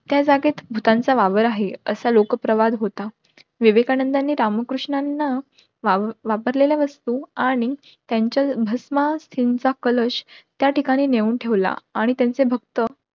त्या जागेत भुतांचा वावर आहे, असा लोक परवड होता. विवेकानंदानी रामकृष्णांना वापरलेल्या वस्तू आणि त्यांच्या भासम अस्थींचा कलश त्या ठिकाणी नेऊन ठेवला आणि त्यांचे भक्त